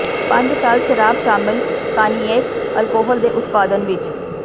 ਪੰਜ ਸਾਲ ਸ਼ਰਾਬ ਸ਼ਾਮਲ ਕਾਨਿਏਕ ਅਲਕੋਹਲ ਦੇ ਉਤਪਾਦਨ ਵਿੱਚ